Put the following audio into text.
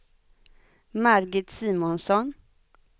Margit Simonsson